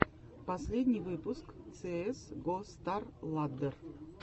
последний выпуск цеэс го старладдер